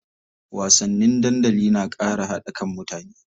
Wasanni dandali na ƙara haɗa kan mutane.